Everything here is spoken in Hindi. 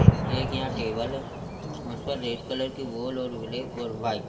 एक यहां टेबल है उस पर रेड कलर की वॉल और ब्लैक और वाइट --